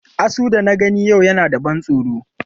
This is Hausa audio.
Asu da na gani a yau yana da ban tsoro.